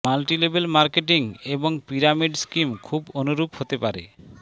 multilevel marketing এবং pyramid scheme খুব অনুরূপ হতে পারে